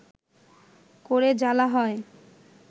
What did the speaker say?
করে জ্বালা হয়